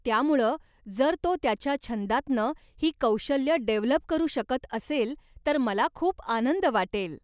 त्यामुळं जर तो त्याच्या छंदांतनं ही कौशल्यं डेव्हलप करू शकत असेल, तर मला खूप आनंद वाटेल.